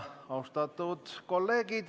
Austatud kolleegid!